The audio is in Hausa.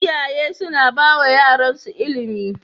Iyaye suna bawa yaran su ilimi